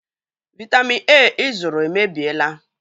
Vị́tamị́n A ị zụrụ èmèbịèlà